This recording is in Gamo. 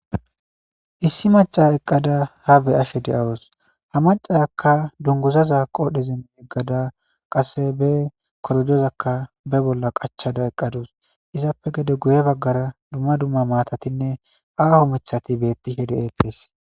Issi macca eqqada haa be7ashe de7awus; ha maccarakka dungguzaza qoodhezin yeggada qasse be korojozakka be bolla qachchada eqqa dus; izappe gede guye baggara dumma dumma maathathinne aaho miththathi beeththishe de7eeththees.